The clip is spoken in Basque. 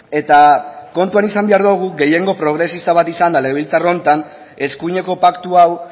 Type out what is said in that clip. eta kontuan izan behar dugu gehiengo progresista bat izanda legebiltzar honetan eskuineko paktu hau